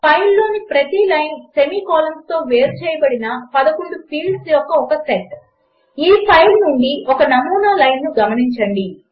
ఫైల్లోని ప్రతి line semi కోలన్స్తో వేరుచేయబడిన 11 ఫీల్డ్స్ యొక్క ఒక సెట్ ఈ ఫైల్ నుండి ఒక నమూనా లైన్ను గమనించండి